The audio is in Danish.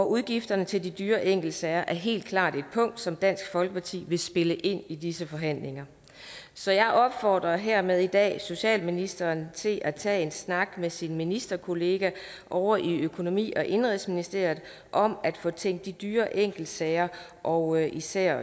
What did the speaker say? udgifterne til de dyre enkeltsager er helt klart et punkt som dansk folkeparti vil spille ind i disse forhandlinger så jeg opfordrer hermed i dag socialministeren til at tage en snak med sin ministerkollega ovre i økonomi og indenrigsministeriet om at få tænkt de dyre enkeltsager og især